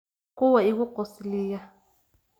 Kuwa igu qosliya